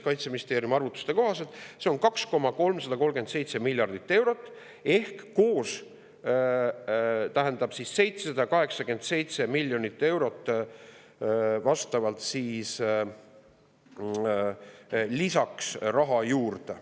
Kaitseministeeriumi arvutuste kohaselt on see 2,337 miljardit eurot ehk see tähendab 787 miljonit eurot raha juurde.